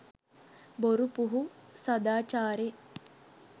බොරු පුහු සදාචාරෙ